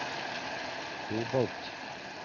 kobolt